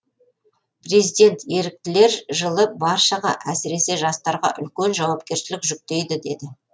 президент еріктілер жылы баршаға әсіресе жастарға үлкен жауапкершілік жүктейді деді